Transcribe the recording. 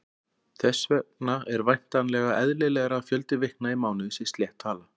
Þess vegna er væntanlega eðlilegra að fjöldi vikna í mánuði sé slétt tala.